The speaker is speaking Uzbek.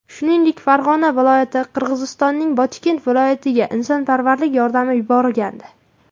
Shuningdek, Farg‘ona viloyati Qirg‘izistonning Botken viloyatiga insonparvarlik yordami yuborgandi .